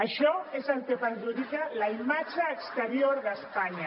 això és el que perjudica la imatge exterior d’espanya